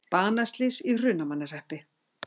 Banaslys í Hrunamannahreppi